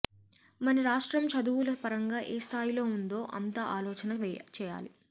మన రాష్ట్రం చదువుల పరంగా ఏ స్థాయిలో ఉందో అంతా ఆలోచన చేయాలి